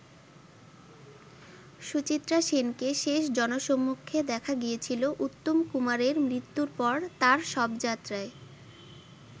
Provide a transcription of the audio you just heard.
সুচিত্রা সেনকে শেষ জনসম্মুখে দেখা গিয়েছিল উত্তম কুমারের মৃত্যুর পর তার শবযাত্রায়।